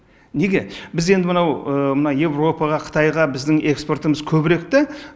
неге біз енді мынау мына еуропаға қытайға біздің экспортымыз көбірек та